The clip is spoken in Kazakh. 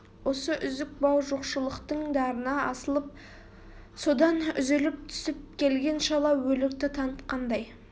осы үзік бау жоқшылықтың дарына асылып содан үзіліп түсіп келген шала өлікті танытқандай